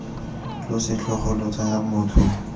lo setlhogo lo tsaya motho